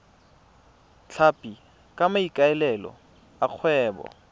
tlhapi ka maikaelelo a kgwebo